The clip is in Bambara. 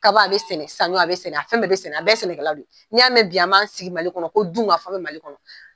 Kaba a be sɛnɛ , saɲɔ a be sɛnɛ, a fɛn bɛɛ be sɛnɛ, a bɛɛ ye sɛnɛkɛlaw de ye . Ni y'a mɛn bi an b'an sigi mali kɔnɔ ko dun ka fa be mali kɔnɔ